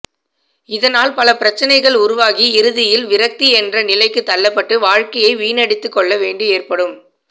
இதனால் பல பிரச்சினைகள் உருவாகி இறுதியில் விரக்தி என்ற நிலைக்கு தள்ளப்பட்டு வாழ்க்கையை வீணடித்துக்கொள்ள வேண்டி ஏற்படும்